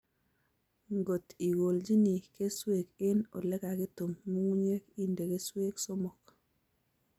Ngot ikoljini keswek eng olekakitum nyung'unyek inde keswek somok